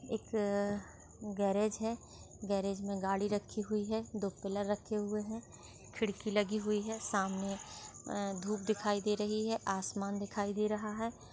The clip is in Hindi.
एक गेरेज है गेरेज मे गाड़ी रखी हुई है दो पिलर रखे हुई है खिड़की लगी हुई है सामने अ धूप दिखायी दे रही है आसमान दिखाई दे रहा है।